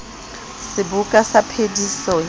le seboka sa phediso ya